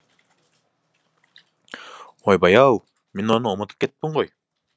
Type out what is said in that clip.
ойбай ау мен оны ұмытып кетіппін ғой